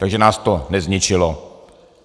Takže nás to nezničilo.